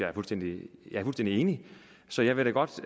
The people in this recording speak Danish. er fuldstændig enig så jeg vil da godt